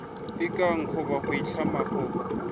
ikana goba go itlama go